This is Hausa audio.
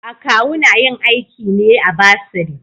Akawu na yin aiki ne a bursary.